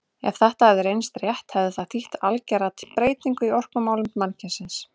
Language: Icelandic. Ef þetta hefði reynst rétt hefði það þýtt algera byltingu í orkumálum mannkynsins.